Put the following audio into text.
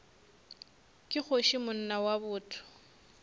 ke kgoši monna wa botho